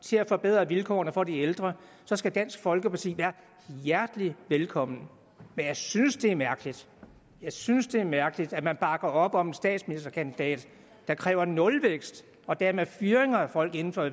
til at forbedre vilkårene for de ældre så skal dansk folkeparti være hjertelig velkommen men jeg synes det er mærkeligt jeg synes det er mærkeligt at man bakker op om en statsministerkandidat der kræver nulvækst og dermed fyringer af folk inden for